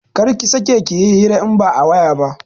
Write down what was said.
Kar ki sake yin hira in ba a waya ba